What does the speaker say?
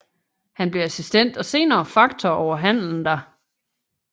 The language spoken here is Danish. Han blev assistent og senere faktor over handelen der